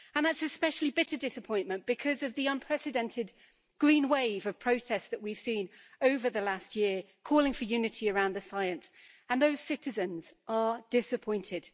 That is an especially bitter disappointment because of the unprecedented green wave of protests that we've seen over the last year calling for unity around the science, and those citizens are disappointed.